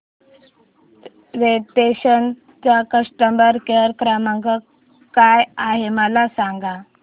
Radisson चा customer care क्रमांक काय आहे मला सांगा